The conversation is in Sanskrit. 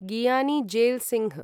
गियानी जेल् सिंह्